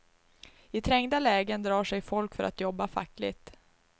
I trängda lägen drar sig folk för att jobba fackligt.